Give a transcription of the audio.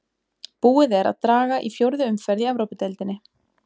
Búið er að draga í fjórðu umferð í Evrópudeildinni.